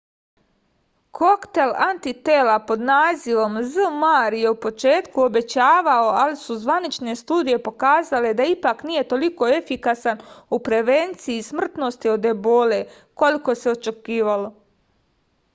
koktel antitela pod nazivom zmapp je u početku obećavao ali su zvanične studije pokazale da ipak nije toliko efikasan u prevenciji smrtnosti od ebole koliko se očekivalo